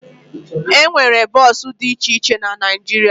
E nwere bọọsụ dị iche iche na Naịjirịa